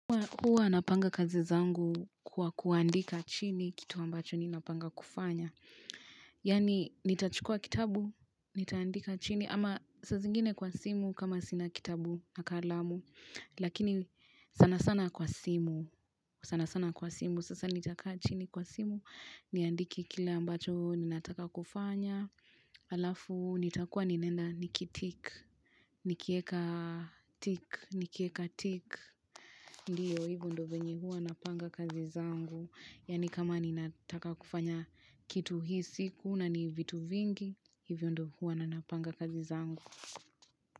Huwa anapanga kazi zangu kwa kuandika chini kitu ambacho ni napanga kufanya. Yaani, nitachukua kitabu, nitaandika chini, ama saa zingine kwa simu kama sina kitabu, na kalamu. Lakini sana sana kwa simu, sana sana kwa simu, sasa nitakaa chini kwa simu, niandike kile ambacho ninataka kufanya. Alafu nitakuwa ninaenda nikitik nikieka tik nikieka tik ndiyo hivyo ndo venye hua napanga kazi zangu yani kama ninataka kufanya kitu hii siku na ni vitu vingi hivyo ndo hua ninapanga kazi zangu.